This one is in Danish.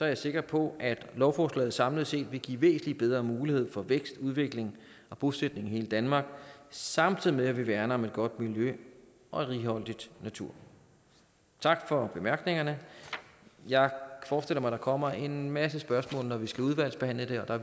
jeg sikker på at lovforslaget samlet set vil give væsentlig bedre muligheder for vækst udvikling og bosætning i hele danmark samtidig med at vi værner om et godt miljø og en righoldig natur tak for bemærkningerne jeg forestiller mig at der kommer en masse spørgsmål når vi skal udvalgsbehandle det her og